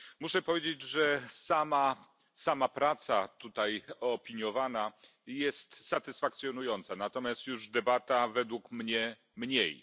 Muszę powiedzieć, że sama praca tutaj opiniowana jest satysfakcjonująca, natomiast już debata według mnie mniej.